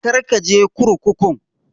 Kar ka je kurkukun!